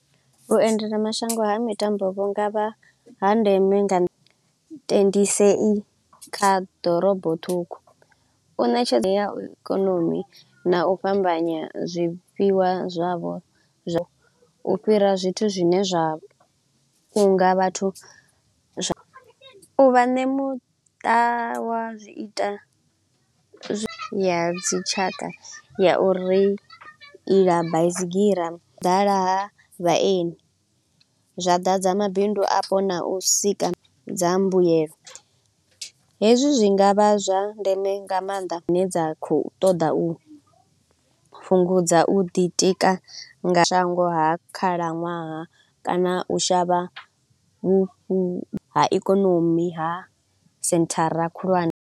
Vhuendelamashango ha mitambo vhu nga vha ha ndeme nga kha ḓorobo ṱhukhu, u ṋetshedza ya ikonomi na u fhambanya zwifhiwa zwavho zwa u fhira zwithu zwine zwa nga vhathu vha ne muṱa wa zwi ita zwa ya dzitshaka ya uri iḽa baisigira ḓala ha vhaeni. Zwa ḓadza mabindu afho na u sika dza mbuyelo, hezwi zwi nga vha zwa ndeme nga maanḓa dzine dza kho u ṱoḓa u fhungudza u ḓi tika nga shango ha khalaṅwaha kana u shavha vhu ha ikonomi ha senthara khulwane.